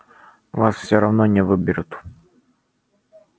вас все равно не выберут